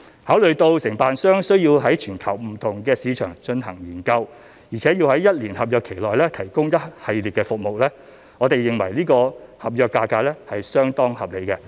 考慮到承辦商需要在全球不同市場進行研究，而且要在一年合約期內提供一系列服務，我們認為是次合約價格相當合理。